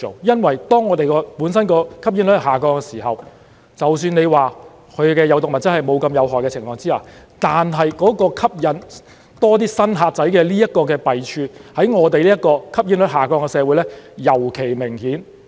因為當我們本身的吸煙率下降的時候，即使它的有毒物質沒有那麼有害的情況之下，但吸引更多"新客仔"的弊處在我們這個吸煙率下降的社會尤其明顯。